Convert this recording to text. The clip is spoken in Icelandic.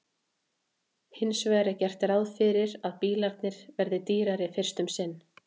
Hins vegar er gert ráð fyrir að bílarnir verði dýrari fyrst um sinn.